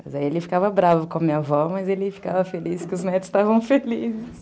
Mas aí ele ficava bravo com a minha avó, mas ele ficava feliz, porque os netos estavam felizes.